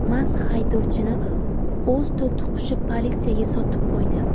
Mast haydovchini o‘z to‘tiqushi politsiyaga sotib qo‘ydi.